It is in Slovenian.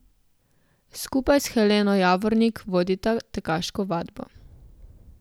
Skupaj s Heleno Javornik vodita Tekaško vadbo.